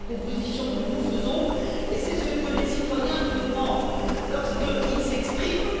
C'est la proposition que nous faisons et c'est ce que les citoyens nous demandent lorsqu'ils s'expriment